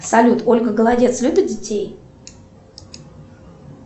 салют ольга голодец любит детей